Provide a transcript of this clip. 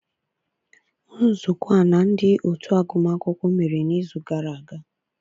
Nzukọ a na ndị otu agụmakwụkwọ mere n'izu gara aga.